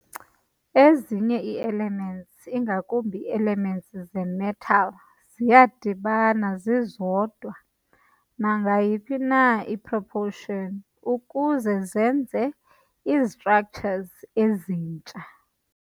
Ezinye ii-elements, ingakumbi ii-elements ze-metal ziyadibana zizodwa nangayiphi na i-proportion ukuze zenze izi-structures ezintsha.